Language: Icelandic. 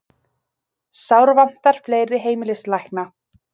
Sárvantar fleiri heimilislækna